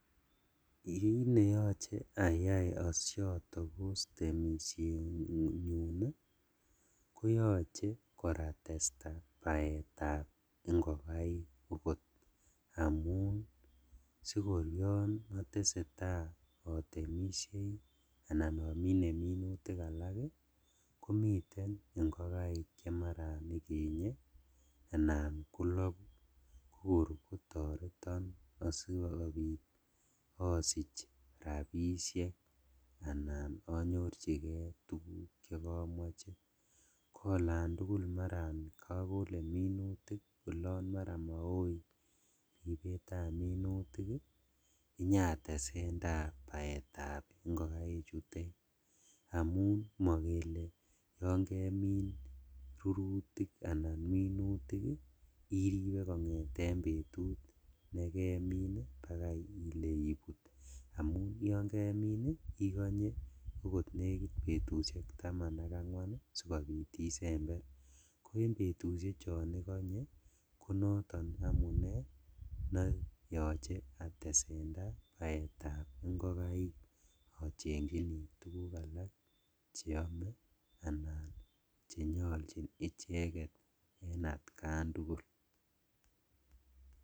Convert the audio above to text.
Kit neyoche ayai osotokos temishenyun ii koyoche kor atesta baetab ingokaik okot, amun sikor otesetaa otemishei anan omine minutik alak ii komiten ingokaik chemaran ikenye anan koloku kokor kotoreton asikobit osich rabishek anan onyorjigee tuguk chekomoche, koolantugul maran kokole minutik alan olon maran moi ribetab minutik ii inyatesendaa baetab ingokaik chutet, amun mokele yon kemin rurutik anan minutik iribe kongeten betut nekemin bakai ile ibut amun yon kemin ii ikonye okot nekit betushek taman ak angwan sikobit isember, ko en betushek chon ikonye konoton amune neyoche atesendaa baetab ingokaik ochenjini tuguk alak cheome anan chenyoljin icheket en atkan tugul .